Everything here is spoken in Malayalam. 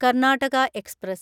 കർണാടക എക്സ്പ്രസ്